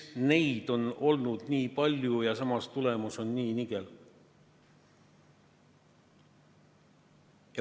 Miks on kulu olnud nii suur, aga samas on tulemus nii nigel?